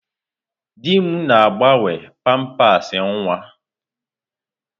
Di m na-agbanwe pampasị nwa.